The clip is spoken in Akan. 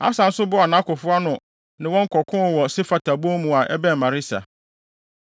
Asa nso boaa nʼakofo ano ne wɔn kɔkoo wɔ Sefata bon mu a ɛbɛn Maresa.